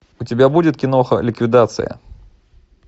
у тебя будет киноха ликвидация